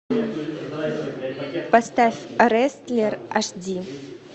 поставь рестлер аш ди